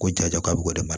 Ko ja k'a bɛ ka mara